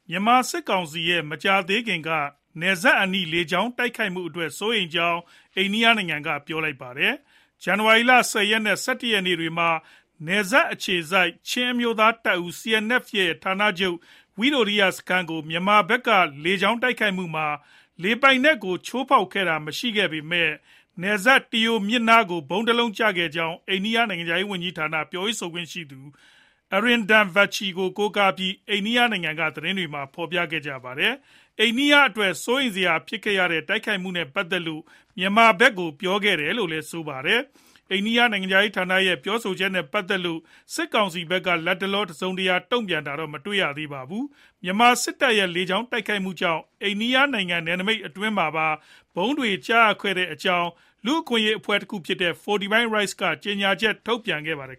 မြန်မာစစ်ကောင်စီရဲ့ မကြာသေးခင်က နယ်စပ်အနီး လေကြောင်းတိုက်ခိုက်မှုအတွက် စိုးရိမ်ကြောင်း အိန္ဒိယနိုင်ငံက ပြောလိုက်ပါတယ်။ ဇန်နဝါရီလ ၁၀ ရက်နဲ့ ၁၁ ရက်နေ့တွေမှာ နယ်စပ်အခြေစိုက် ချင်းအမျိုးသားတပ်ဦး CNF ဌာနချုပ် ဝိတိုရိယစခန်းကို မြန်မာဖက်က လေကြောင်းတိုက်ခိုက်မှုမှာ လေပိုင်နက်ကို ချိုးဖောက်တာ မရှိခဲ့ပေမဲ့ နယ်စပ် Tiau မြစ်ကမ်းနားကို ဗုံးတလုံးကျရောက်ခဲ့ကြောင်း အိန္ဒိယနိုင်ငံခြားရေးဌာန ပြောရေးဆိုခွင့်ရှိသူ Arindam Bagchi ကို ကိုးကားပြီး အိန္ဒိယနိုင်ငံက သတင်းတွေက ဖော်ပြခဲ့ကြတာပါ။ အိန္ဒိယအတွက် စိုးရိမ်စရာဖြစ်ခဲ့ရတဲ့ တိုက်ခိုက်မှုနဲ့ ပတ်သက်လို့ မြန်မာဖက်ကို ပြောခဲ့တယ်လို့လည်း ဆိုပါတယ်။ အိန္ဒိယနိုင်ငံခြားရေးဌာနရဲ့ ပြောဆိုချက်နဲ့ ပတ်သက်လို့ စစ်ကောင်စီဖက်က လတ်တလော တစုံတရာ တုံ့ပြန်တာတော့ မတွေ့ရသေးပါဘူး။ မြန်မာစစ်တပ်ရဲ့ လေကြောင်းတိုက်ခိုက်မှုကြောင့် အိန္ဒိယနိုင်ငံနယ်နမိတ်အတွင်းမှာပါ ဗုံးတွေကျခဲ့တဲ့အကြောင်း လူ့အခွင့်အရေး အဖွဲ့တခုဖြစ်တဲ့ Fortify Rights အဖွဲ့ကလည်း ကြေညာချက် ထုတ်ပြန်ခဲ့ပါတယ်